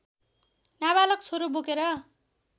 नाबालक छोरो बोकेर